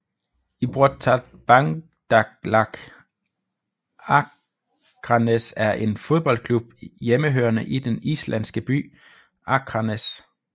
Íþróttabandalag Akranes er en fodboldklub hjemmehørende i den islandske by Akranes